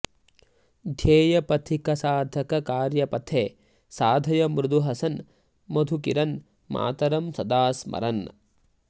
ध्येयपथिकसाधक कार्यपथे साधय मृदु हसन् मधुकिरन् मातरं सदा स्मरन्